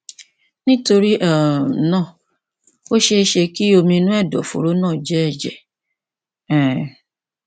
nítorí um náà ó ṣeé ṣe kí omi inú ẹdọfóró náà jẹ ẹjẹ um